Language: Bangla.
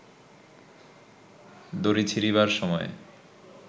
দড়ি ছিঁড়িবার সময়ে